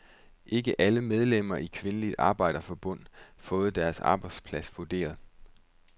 Ikke alle medlemmerne i Kvindeligt Arbejderforbund fået deres arbejdsplads vurderet.